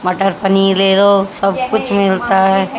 मटर पनीर ले लो सब कुछ मिलता है।